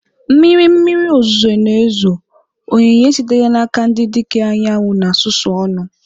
Mmiri mmiri ozuzo na-ezo, onyinye sitere n'aka ndị dike anyanwụ na-susu ọnụ.